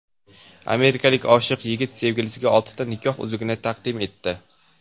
Amerikalik oshiq yigit sevgilisiga oltita nikoh uzugi taqdim etdi.